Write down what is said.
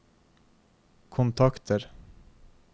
kontakter